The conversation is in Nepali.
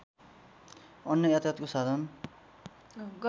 अन्य यातायातको साधन